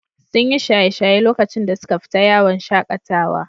Sun yi shaye-shaye lokacin da suka fita yawon shaƙatawa.